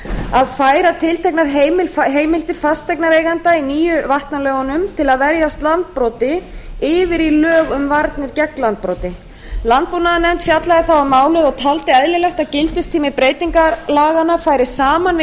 að færa tilteknar heimildir fasteignaeigenda í nýju vatnalögunum til að verjast landbroti yfir í lög um varnir gegn landbroti landbúnaðarnefnd fjallaði þá um málið og taldi eðlilegt að gildistími breytingar laganna færi saman við